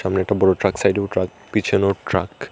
একটা বড় ট্রাক সাইডেও ট্রাক পিছনেও ট্রাক ।